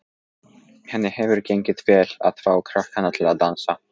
Henni hefur gengið vel að fá krakkana til að dansa.